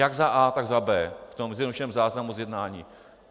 Jak za a), tak za b) v tom zjednodušeném záznamu z jednání.